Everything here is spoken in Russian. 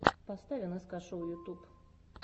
поставь нск шоу ютуб